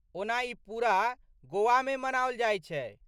ओना ई पूरा गोवामे मनाओल जायत छै।